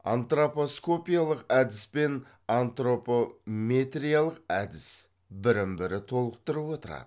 антропоскопиялық әдіс пен антропометриялық әдіс бірін бірі толықтырып отырады